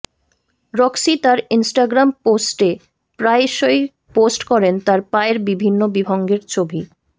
Roxie তাঁর Instagram পোস্টে প্রায়শই পোস্ট করেন তাঁর পায়ের বিভিন্ন বিভঙ্গের ছবি